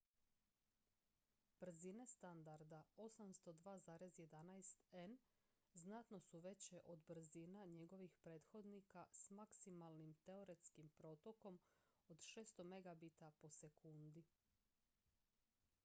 brzine standarda 802.11n znatno su veće od brzina njegovih prethodnika s maksimalnim teoretskim protokom od 600 mbit/s